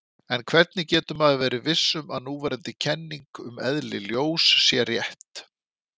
En hvernig getur maður verið viss um að núverandi kenning um eðli ljós sé rétt?